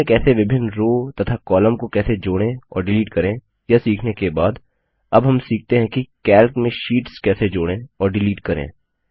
sheet में कैसे विभिन्न रो तथा कॉलम को कैसे जोड़ें और डिलीट करें यह सीखने के बाद अब हम सीखते है कि कैल्क में शीट्स कैसे जोड़ें और डिलीट करें